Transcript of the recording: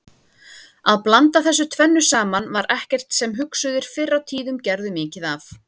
Að blanda þessu tvennu saman var ekkert sem hugsuðir fyrr á tíðum gerðu mikið af.